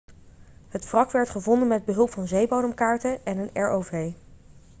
het wrak werd gevonden met behulp van zeebodemkaarten en een rov